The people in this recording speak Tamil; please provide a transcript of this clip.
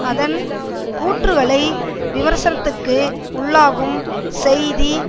அதன் கூற்றுக்களை விமர்சனத்திற்கு உள்ளாகும் செய்தி